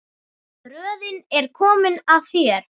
Röðin er komin að þér.